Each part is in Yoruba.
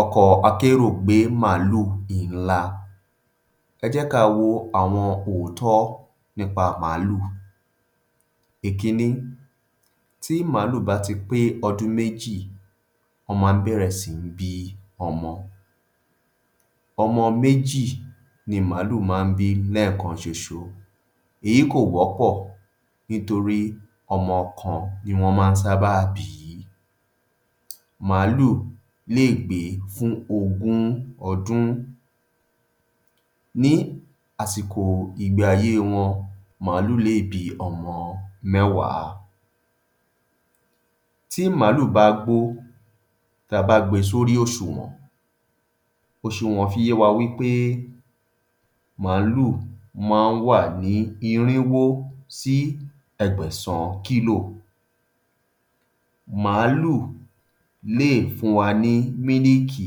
Ọkọ̀ akérò gbé màlúù ńlá. Ẹ jẹ́ ká wo àwọn òótọ́ nípa màlúù. Ìkínní, tí màlúù bá ti pé ọdún méjì, wọ́n má ń bẹ̀rẹ̀ sí ní bí ọmọ. Ọmọ méjì ni màlúù má ń bí lẹ́ẹ̀kan ṣoṣo, èyí kò wọ́pọ̀ ní torí ọmọ kan ni wọ́n má ń sábà bí. Màlúù lè gbé fún ogún ọdún. Ní àsìkò ìgbé ayé wọn, màlúù lè bí ọmọ mẹ́wàá. Tí màlúù bá gbó, tá a bá gbé e sórí òṣùwọ̀n, òṣùwọ̀n fi yé wa wí pé màlúù má ń wà ní irínwó àbí ẹgbẹ̀sán kílò. Màlúù lè fún wa ní mílìkì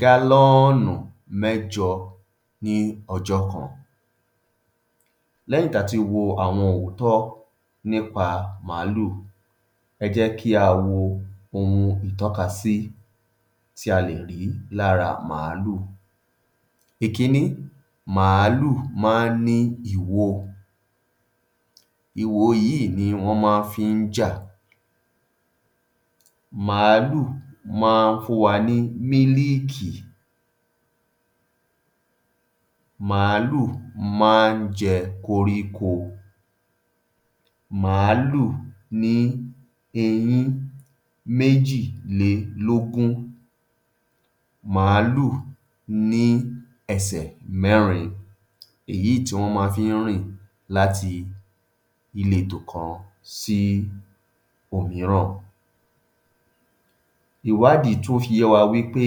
galoonu mẹ́jọ ní ọjọ́ kan. Lẹ́yìn tá a ti wo àwọn òótọ́ nípa Ìkínní, ẹ jẹ́ kí á wo ohun ìtọ́kasí tí a lè rí lára màlúù. Ìkínní, màlúù má ń ní ìwo, ìwo yíì ni wọ́n máá fi ń jà. Màlúù má ń fún wa ní mílìkì, màlúù má ń jẹ koríko. Màlúù ní eyín méjìlélógún. Màlúù ní ẹsẹ̀ mẹ́rin, èyíì tí wọ́n máa fi ń rìn láti ìletò kan sí òmíràn. Ìwádìí tún fi yé wa wí pé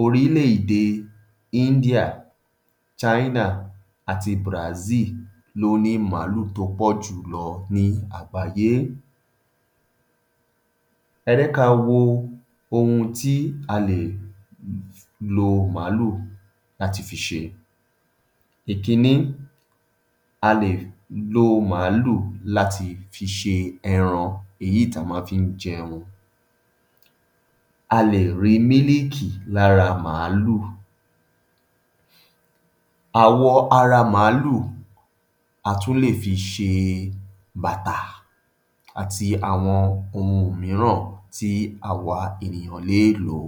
orílé-èdè India, China ati Brazil ló ní màlúù tó pọ̀ jù lọ ní àgbáyé. Ẹ jé ká a wo ohun tí a lè lo màlúù láti fi ṣe. Ìkínní, a lè lo màlúù láti fi ṣe ẹran èyíì tá a má fi ń jẹun, a lè rí mílìkì lára màlúù. Àwọ ara màlúù a tún lè fi s̀e bàtà àti àwọn ohun mííràn tí àwa ènìyàn lé è lo.